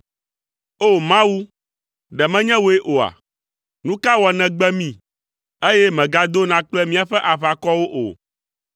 O! Mawu, ɖe menye wòe oa? Nu ka wɔ nègbe mí, eye mègadona kple míaƒe aʋakɔwo o?